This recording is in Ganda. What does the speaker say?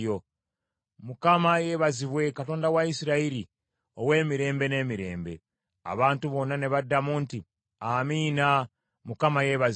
Mukama yeebazibwe, Katonda wa Isirayiri ow’emirembe n’emirembe. Abantu bonna ne baddamu nti, “Amiina, Mukama yeebazibwe.”